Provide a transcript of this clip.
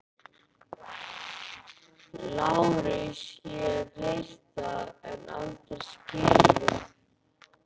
LÁRUS: Ég hef heyrt það en aldrei skilið.